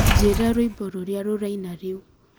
njira rwĩmbo rũrĩa rũraina rĩu